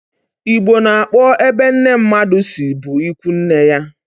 Igbo na-akpo ebe nne mmadụ si bụ ịkwụ nne ya